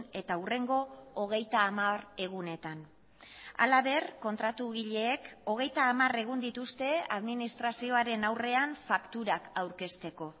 eta hurrengo hogeita hamar egunetan halaber kontratugileek hogeita hamar egun dituzte administrazioaren aurrean fakturak aurkezteko